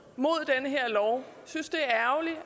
synes det